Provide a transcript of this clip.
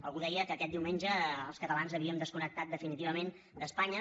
algú deia que aquest diumenge els catalans havíem desconnectat definitivament d’espanya